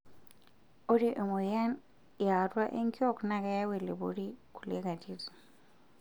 Ore emoyian yaatua enkiok naa keyau elepori kulie atitin.